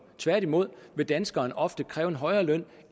tværtimod vil danskeren ofte kræve en højere løn